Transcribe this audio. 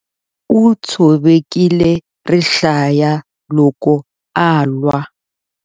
U tshovekile rihlaya loko a lwa.